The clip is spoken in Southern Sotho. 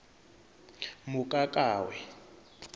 mokakawe